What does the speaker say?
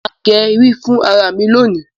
má gé rí fún àrà mí lóni.